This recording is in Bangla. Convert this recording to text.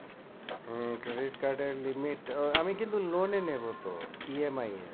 আহ credit card এর limit আহ আমি কিন্তু loan এ নেবো তো E. M. I. এ